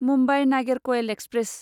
Mumbai Nagercoil express